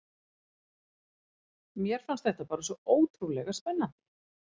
Mér fannst þetta bara svo ótrúlega spennandi.